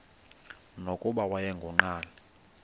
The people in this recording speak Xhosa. nokuba wayengu nqal